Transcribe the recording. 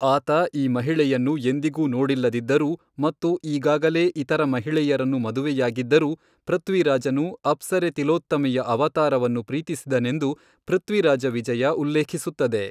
ಆತ ಈ ಮಹಿಳೆಯನ್ನು ಎಂದಿಗೂ ನೋಡಿಲ್ಲದಿದ್ದರೂ ಮತ್ತು ಈಗಾಗಲೇ ಇತರ ಮಹಿಳೆಯರನ್ನು ಮದುವೆಯಾಗಿದ್ದರೂ, ಪೃಥ್ವಿರಾಜನು ಅಪ್ಸರೆ ತಿಲೋತ್ತಮೆಯ ಅವತಾರವನ್ನು ಪ್ರೀತಿಸಿದನೆಂದು 'ಪೃಥ್ವಿರಾಜ ವಿಜಯ' ಉಲ್ಲೇಖಿಸುತ್ತದೆ.